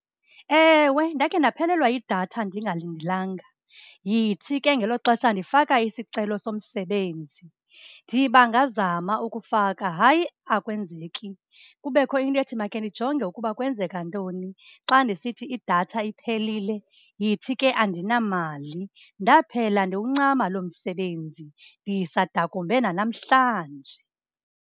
Ewe, ndakhe ndaphelelwa yidatha ndingalindelanga, yithi ke ngelo xesha ndifaka isicelo somsebenzi. Ndiba ngazama ukufaka, hayi, akwenzeki. Kubekho into ethi makhe ndijonge ukuba kwenzeka ntoni. Xa ndisithi idatha iphelile, yithi ke andinamali, ndaphela ndiwuncama loo msebenzi. Ndisadakumbe nanamhlanje.